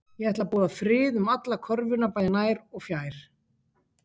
Ég ætla að boða frið um alla körfuna bæði nær og fjær